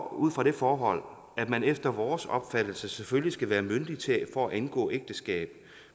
ud fra det forhold at man efter vores opfattelse selvfølgelig skal være myndig for at indgå ægteskab